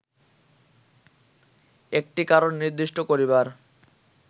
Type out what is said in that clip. একটি কারণ নির্দিষ্ট করিবার